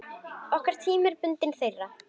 Okkar tími er bundinn þeirra.